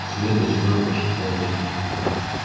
свет и тьма прошептал я